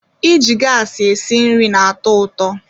Iji gas esi nri na-atọ ụtọ